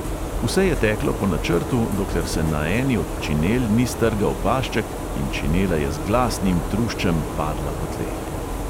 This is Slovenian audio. Vse je teklo po načrtu, dokler se na eni od činel ni strgal pašček in činela je z glasnim truščem padla po tleh.